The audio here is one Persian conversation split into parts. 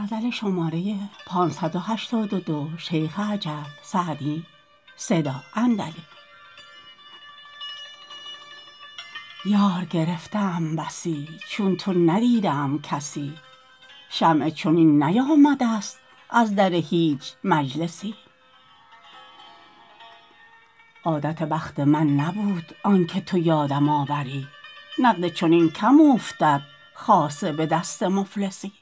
یار گرفته ام بسی چون تو ندیده ام کسی شمعی چنین نیامده ست از در هیچ مجلسی عادت بخت من نبود آن که تو یادم آوری نقد چنین کم اوفتد خاصه به دست مفلسی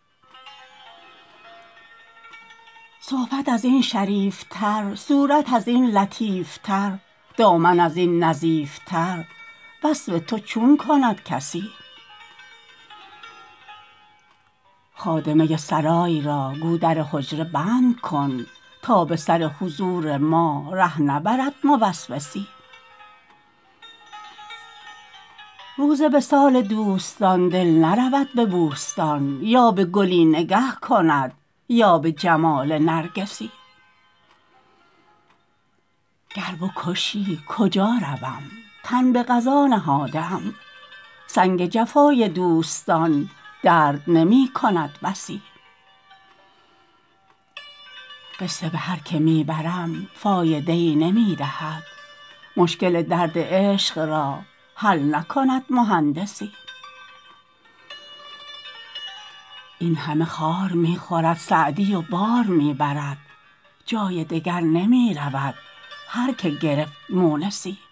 صحبت از این شریف تر صورت از این لطیف تر دامن از این نظیف تر وصف تو چون کند کسی خادمه سرای را گو در حجره بند کن تا به سر حضور ما ره نبرد موسوسی روز وصال دوستان دل نرود به بوستان یا به گلی نگه کند یا به جمال نرگسی گر بکشی کجا روم تن به قضا نهاده ام سنگ جفای دوستان درد نمی کند بسی قصه به هر که می برم فایده ای نمی دهد مشکل درد عشق را حل نکند مهندسی این همه خار می خورد سعدی و بار می برد جای دگر نمی رود هر که گرفت مونسی